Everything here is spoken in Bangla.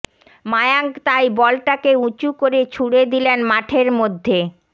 মায়াঙ্ক তাই বলটাকে উঁচু করে ছুড়ে দিলেন মাঠের মধ্যে